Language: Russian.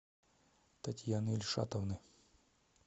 татьяны ильшатовны